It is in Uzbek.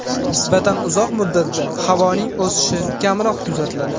Nisbatan uzoq muddatda havoning isishi kamroq kuzatiladi.